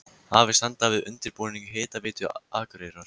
Hafist handa við undirbúning Hitaveitu Akureyrar.